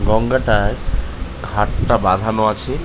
গঙ্গাটার ঘাট টা বাঁধানো আছে।